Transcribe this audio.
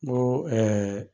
N ko